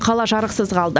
қала жарықсыз қалды